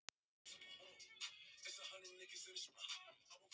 Já, viltu ekki ganga í félagið með okkur?